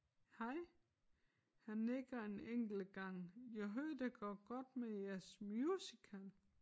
Hej han nikker en enkelt gang jeg hører det går godt med jeres musical